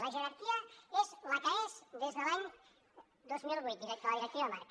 la jerarquia és la que és des de l’any dos mil vuit de la directiva marc